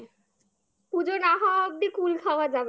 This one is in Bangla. পুজো না হওয়া অব্দি কুল খাওয়া যাবে না